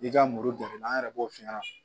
I ka muru jateminɛ an yɛrɛ b'o f'i ɲɛna